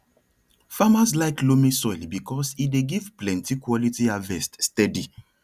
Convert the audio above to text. farmers like loamy soil because e dey give plenty quality harvest steady